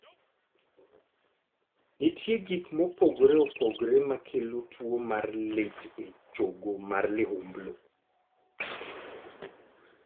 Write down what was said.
Nitie gik mopogore opogore makelo tuo mar lit e chogo mar liumblu.